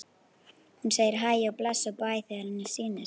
Hún segir hæ og bless og bæ þegar henni sýnist!